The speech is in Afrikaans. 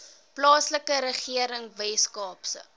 plaaslike regering weskaapse